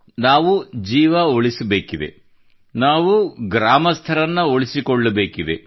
ನಾವು ಜೀವನ ಉಳಿಸಬೇಕಿದೆ ನಾವು ಗ್ರಾಮಸ್ಥರನ್ನು ಉಳಿಸಿಕೊಳ್ಳಬೇಕಿದೆ